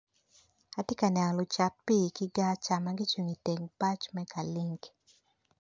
Atye ka neno lucat pi ki gar magicungo i teng bac me ka link.